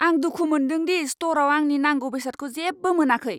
आं दुखु मोनदों दि स्ट'रआव आंनि नांगौ बेसादखौ जेबो मोनाखै।